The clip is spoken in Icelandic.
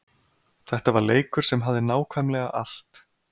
Þetta var leikur sem hafði nákvæmlega allt.